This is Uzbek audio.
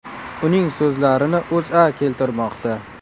Uning so‘zlarini O‘zA keltirmoqda .